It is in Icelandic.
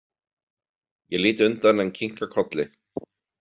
Ég lít undan en kinka kolli.